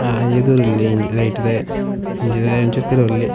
ಹಾ ಎದುರುಲ್ಲೆ ಇ ರೈಟ್ ದಾಯೆ ಇಂಚಿದಾಯೆ ಒಂಚೂರು ಪಿರವು ಉಲ್ಲೆ.